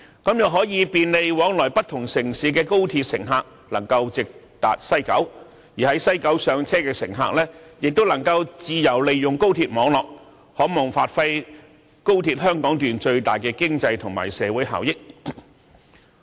這樣可以便利往來不同城市的高鐵乘客能夠直達西九，而在西九站上車的乘客亦能夠自由利用高鐵網絡，可望發揮高鐵香港段最大的經濟和社會效益。